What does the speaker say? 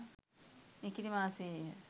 නිකිණි මාසයේ ය.